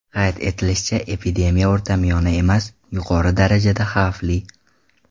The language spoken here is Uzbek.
Qayd etilishicha, epidemiya o‘rtamiyona emas, yuqori darajada xavfli.